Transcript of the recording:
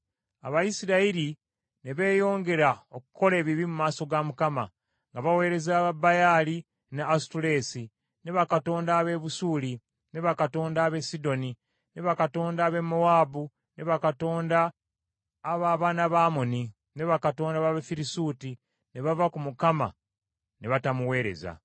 Abayisirayiri ne beeyongera okukola ebibi mu maaso ga Mukama , nga baweereza Babaali ne Asutoleesi ne bakatonda ab’e Busuuli, ne bakatonda ab’e Sidoni, ne bakatonda ab’e Mowaabu, ne bakatonda ab’abaana ba Amoni, ne bakatonda b’Abafirisuuti, ne bava ku Mukama ne batamuweereza.